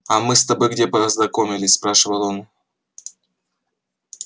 а мы где с тобой познакомились спрашивает он